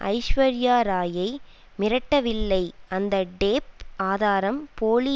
ஐஸ்வர்யாராயை மிரட்டவில்லை அந்த டேப் ஆதாரம் போலி